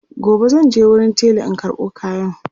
gobe zanje wurin tela in karɓo kayan